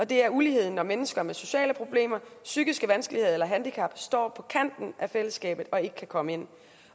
det er ulighed når mennesker med sociale problemer psykiske vanskeligheder eller handicap står på kanten af fællesskabet og ikke kan komme ind